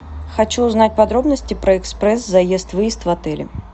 хочу узнать подробности про экспресс заезд выезд в отеле